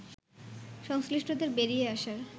সংশ্লিষ্টদের বেরিয়ে আসার